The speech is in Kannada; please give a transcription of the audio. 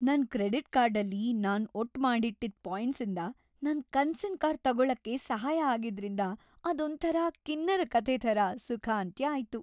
ನನ್ ಕ್ರೆಡಿಟ್ ಕಾರ್ಡಲ್ಲಿ ನಾನ್ ಒಟ್‌ಮಾಡಿಟ್ಟಿದ್‌ ಪಾಯಿಂಟ್ಸಿಂದ ನನ್ ಕನ್ಸಿನ್ ಕಾರ್ ತಗೊಳಕ್ ಸಹಾಯ ಆಗಿದ್ರಿಂದ ಅದೊಂಥರ ಕಿನ್ನರ ಕಥೆ ಥರ ಸುಖಾಂತ್ಯ ಆಯ್ತು.